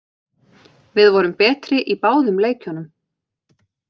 Við vorum betri í báðum leikjunum